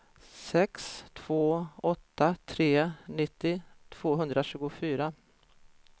sex två åtta tre nittio tvåhundratjugofyra